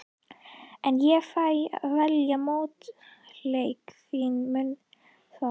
En ég fæ að velja mótleikara þinn, mundu það.